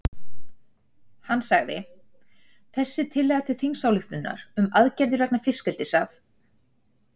Hann sagði: Þessi tillaga til þingsályktunar um aðgerðir vegna fiskeldis að